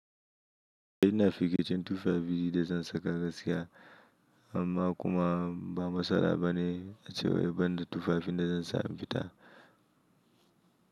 Ina firgicin tufafi da zan saka gaskiya amma kuma ba matsala bane ace wai ban da tufafi da zan sa in fi ta.